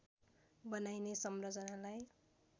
बनाइने संरचनालाई